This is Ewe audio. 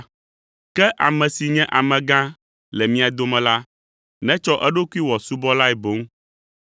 Ke ame si nye amegã le mia dome la, netsɔ eɖokui wɔ subɔlae boŋ.